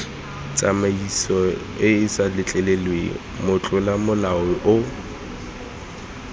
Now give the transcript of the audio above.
tsamaisoeesa letleleleng motlola molao yo